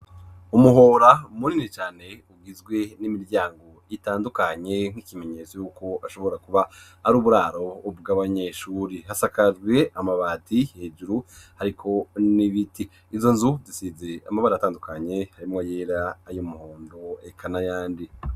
Umuhora munini cane, ugizwe n'imiryango itandukanye, nk'ikimenyetso yuko ashobora kuba ari uburaro bw' abanyeshure; hasakajwe amabati hejuru hariko n'ibiti; izo nzu zisize amabara atandukanye, harimwo ayera ay’umuhondo eka n’ayandi.